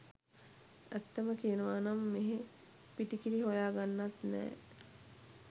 ඇත්තම කියනවනම් මෙහෙ පිටි කිරි හොයා ගන්නත් නෑ .